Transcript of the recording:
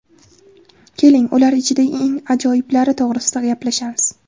Keling, ular ichida eng ajoyiblari to‘g‘risida gaplashamiz.